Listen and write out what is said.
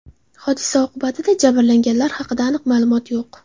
Hodisa oqibatida jabrlanganlar haqida aniq ma’lumotlar yo‘q.